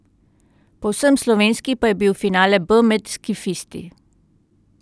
Povsem slovenski pa je bil finale B med skifisti.